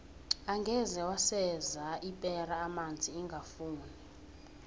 angeze waseza ipera amanzi ingafuni